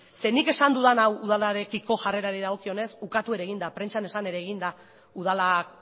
zeren nik esan dudan hau udalarekiko jarrerari dagokionez ukatu ere egin da prentsan esan ere egin da udalak